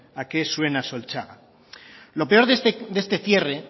a qué suena solchaga lo peor de este cierre